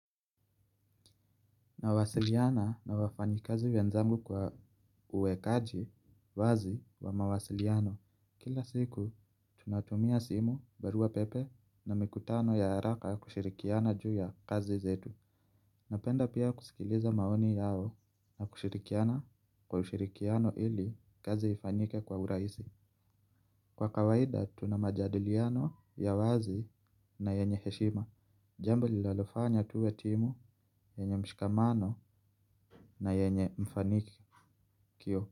Nawasiliana na wafanyikazi wenzangu kwa uwekaji wazi wa mawasiliano. Kila siku tunatumia simu, barua pepe na mikutano ya haraka kushirikiana juu ya kazi zetu. Napenda pia kusikiliza maoni yao na kushirikiana kwa ushirikiano ili kazi ifanyike kwa urahisi. Kwa kawaida tuna majadiliano ya wazi na yenye heshima. Jambo linalofanya tuwe timu yenye mshikamano na yenye mfanikio.